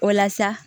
O la sa